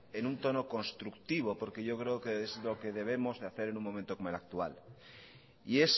en un tono constructivo porque yo creo que es lo que debemos hacer en un momento como el actual y